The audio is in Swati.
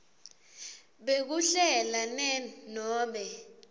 bekuhlela ne nobe